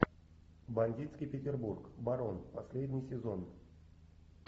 бандитский петербург барон последний сезон